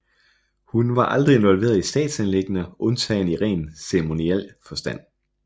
Hun var aldrig involveret i statsanliggender undtagen i ren ceremoniel forstand